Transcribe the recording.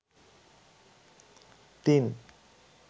তিন